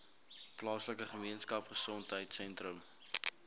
plaaslike gemeenskapgesondheid sentrum